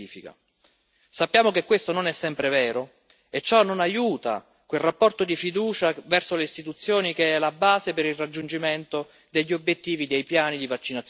Sappiamo che questo non è sempre vero e ciò non aiuta quel rapporto di fiducia verso le istituzioni che è la base per il raggiungimento degli obiettivi dei piani di vaccinazione nazionale.